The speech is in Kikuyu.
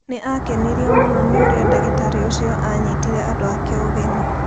Nĩ aakenirio mũno nĩ ũrĩa ndagĩtarĩ ũcio aanyitire andũ ake ũgeni.